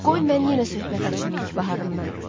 Qoy mən yenə söhbət açım ilk baharımdan.